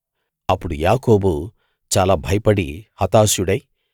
అప్పుడు యాకోబు చాలా భయపడి హతాశుడై